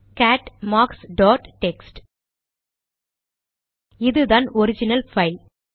gate marks dot text இதுதான் original file